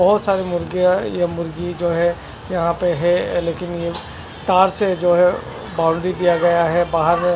बहत सारे मुर्गिया ये मुर्गी जो है यहाँ पे है लेकिन तार जो है बॉउंड्री दिआ गया है बहार में --